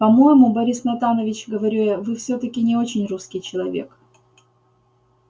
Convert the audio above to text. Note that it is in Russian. по-моему борис натанович говорю я вы всё-таки не очень русский человек